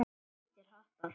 Hvítir hattar.